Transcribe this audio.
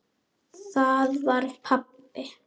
Það var pabbi!